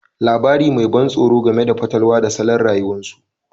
Labari mai ban tsoro game da fatalwa da salon rayuwarsu